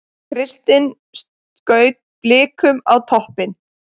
Kristinn skaut Blikum á toppinn